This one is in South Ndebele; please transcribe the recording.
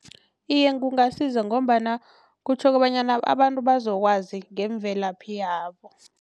Iye kungasiza ngombana kutjho kobanyana abantu bazokwazi ngemvelaphi yakho.